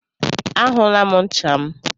A hụla m ncha m.